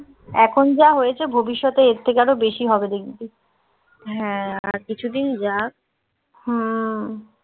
এখন যা হয়েছে ভবিষ্যতে এর থেকে আরো বেশি হবে দেখবি. হ্যাঁ, আর কিছুদিন যাক. হুম